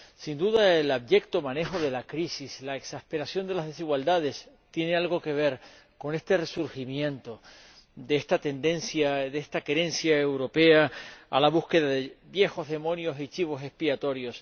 Sin duda, el abyecto manejo de la crisis y la exasperación de las desigualdades tienen algo que ver con el resurgimiento de esta tendencia, de esta querencia europea, a buscar viejos demonios y chivos expiatorios.